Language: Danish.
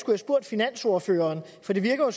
have spurgt finansordføreren for det virker jo